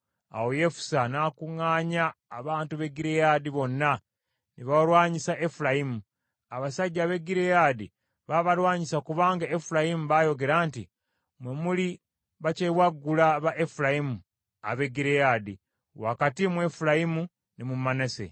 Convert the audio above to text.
Awo Yefusa n’akuŋŋaanya abantu b’e Gireyaadi bonna, ne balwanyisa Efulayimu. Abasajja ab’e Gireyaadi baabalwanyisa kubanga Efulayimu baayogera nti, “Mmwe muli bakyewaggula ba Efulayimu ab’e Gireyaadi, wakati mu Efulayimu ne mu Manase.”